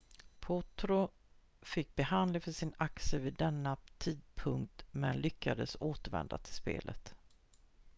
potro fick behandling för sin axel vid denna tidpunkt men lyckades återvända till spelet